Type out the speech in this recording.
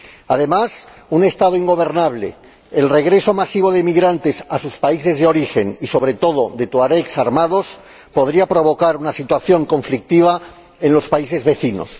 Además, un Estado ingobernable, el regreso masivo de emigrantes a sus países de origen y, sobre todo, de tuaregs armados, podría provocar una situación conflictiva en los países vecinos.